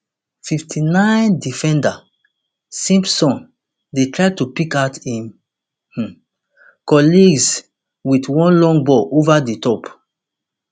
fifty-ninedefender simpson dey try to pick out im um colleagues wit one long ball ova di top